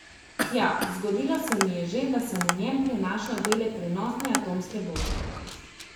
Ja, zgodilo se mi je že, da sem v njem prenašal dele prenosne atomske bombe.